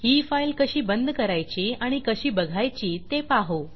ही file कशी बंद करायची आणि कशी बघायची ते पाहू